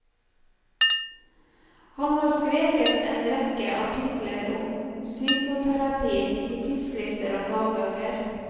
Han har skrevet en rekke artikler om psykoterapi i tidsskrifter og fagbøker.